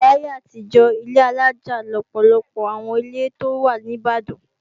Láyé àtijọ́, ilé alájà lọ̀pọ̀lọpọ̀ àwọn ilé tó wà ní Ìbàdàn.